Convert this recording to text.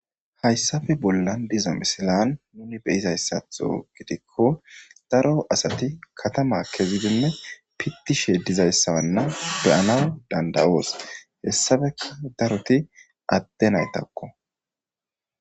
hayssafe bollan diza misilan nuni beyizayssatho gidikko daro asati katama kezidinne pittishe dizayssawanna beyanaw danda7oos hessafeka daroti adte naytakko